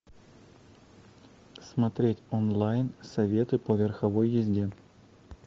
смотреть онлайн советы по верховой езде